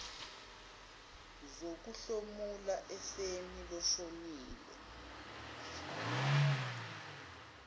zokuhlomula efeni loshonile